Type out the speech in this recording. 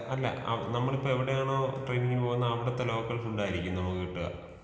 അല്ല ആ നമ്മളിപ്പോ എവിടെയാണോ ട്രെയിനിങ്ങിന് പോകുന്നത് അവിടുത്തെ ലോക്കൽ ഫുഡ്ഡായിരിക്കും നമുക്ക് കിട്ടാ.